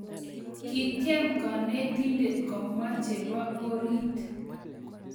kitiem kanetindet komwa chebo oriit